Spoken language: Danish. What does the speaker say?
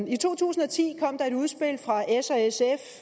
i to tusind og ti kom der et udspil fra s